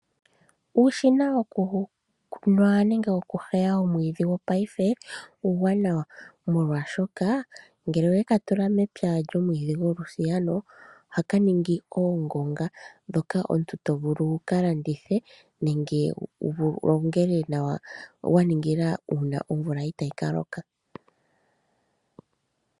Uushina wokumwa nenge wo kuheya omwiidhi wo paife uuwanawa molwashoka ngele owekatula mepya lyo omwiidhi goluciano ohaka ningi oongonga dhoka omuntu tovulu wukalandithe nenege togu gongele nawa waningila uuna omvula itayi kaloka.